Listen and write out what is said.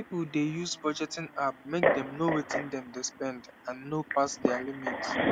people dey use budgeting app make dem know wetin dem dey spend and no pass their limit